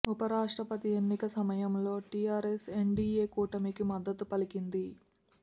ఉప రాష్ట్రపతి ఎన్నిక సమయంలో టీఆర్ఎస్ ఎన్డీఏ కూటమికి మద్దతు పలికింది